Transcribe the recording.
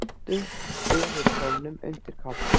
Svuntu yfir kjólnum undir kápunni.